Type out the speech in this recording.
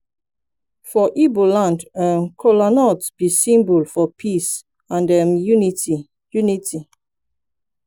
for igbo land um kola b symbol for peace and um unity unity